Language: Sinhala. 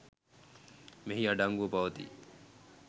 මෙහි අඩංගුව පවතී.